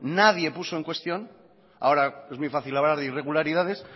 nadie puso en cuestión ahora es muy fácil hablar de irregularidades